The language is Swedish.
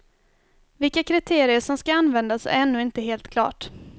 Vilka kriterier som ska användas är ännu inte helt klart.